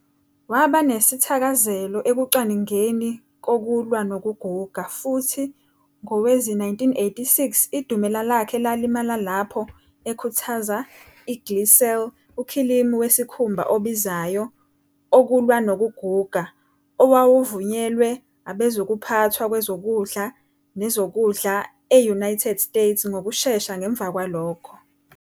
Waba nesithakazelo ekucwaningeni kokulwa nokuguga, futhi ngowezi-1986 idumela lakhe lalimala lapho ekhuthaza I-Glycel, ukhilimu wesikhumba obizayo "okulwa nokuguga", owawuvunyelwe abezokuphathwa kwezokudla nezokudlae-UAnited States ngokushesha ngemva kwalokho.